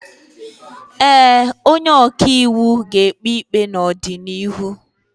Ee, onye ọka iwu ga-ekpe ikpe n'ọdịnihu.